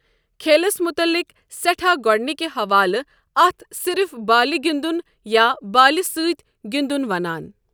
كھیلس متعلق سٮ۪ٹھاہ گوڈنِكہِ حوالہٕ اتھ صِرف بالہِ گِندن یا بالہِ سٕتۍ گِندن ونان۔